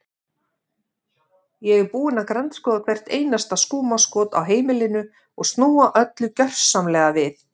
Ég er búin að grandskoða hvert einasta skúmaskot á heimilinu og snúa öllu gjörsamlega við.